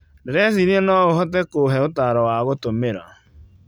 Ndĩreciria no ũhote kũhe ũtaaro wa gũtũmĩra.